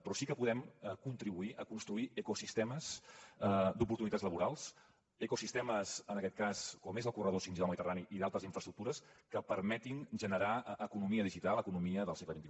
però sí que podem contribuir a construir ecosistemes d’oportunitats laborals ecosistemes en aquest cas com és el corredor 5g del mediterrani i d’altres infraestructures que permetin generar economia digital economia del segle xxi